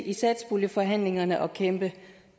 i satspuljeforhandlingerne at kæmpe